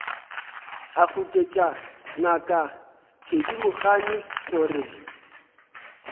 a goketša ngaka thedimogane gore